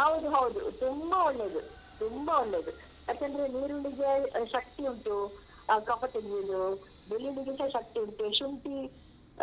ಹೌದು ಹೌದು ತುಂಬ ಒಳ್ಳೇದು ತುಂಬ ಒಳ್ಳೇದು ಯಾಕಂದ್ರೆ ನೀರುಳ್ಳಿಗೆ ಶಕ್ತಿ ಉಂಟು ಆ ಕಫ ತೆಗಿಯುವುದು ಬೆಳ್ಳುಳ್ಳಿಗೆಸ ಶಕ್ತಿ ಉಂಟು ಶುಂಠಿ